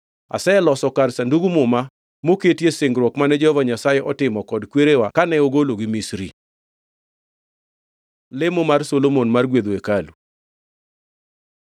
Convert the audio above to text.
Aseloso kar Sandug Muma, moketie singruok mane Jehova Nyasaye otimo kod kwerewa kane ogologi Misri.” Lemo mar Solomon mar gwedho hekalu